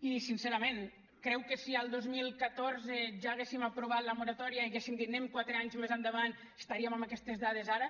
i sincerament creu que si al dos mil catorze ja haguéssim aprovat la moratòria i haguéssim dit anem quatre anys més endavant estaríem amb aquestes dades ara